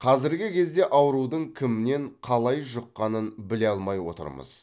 қазіргі кезде аурудың кімнен қалай жұққанын біле алмай отырмыз